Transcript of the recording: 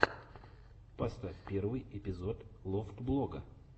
поставь первый эпизод лофтблога